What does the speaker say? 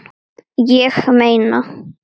Ég meina.